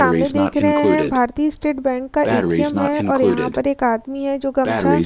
सामने देख रहे हैं भारतीय स्टेट बैंक का ए.टी.एम. है और यहां पर एक आदमी है जो गमछा --